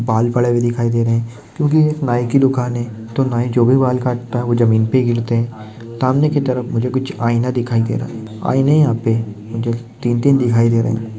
बाल पड़े हुए दिखाईं दे रहे क्योकि एक नाई की दुकान है तो नाई जो भी बाल काटता है वो जमीन पे गिरते सामने की तरफ मुझे कुछ आईना दिखाई दे रहा आईने यहा पे मुझे तीन तीन दिखाई दे रहे।